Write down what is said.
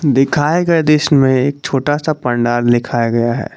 दिखाए गए दृश्य में एक छोटा सा पंडाल लिखाया गया है।